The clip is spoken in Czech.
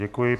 Děkuji.